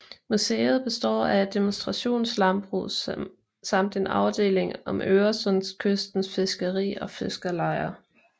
Museet består af et demonstrationslandbrug samt en afdeling om Øresundskystens fiskeri og fiskerlejer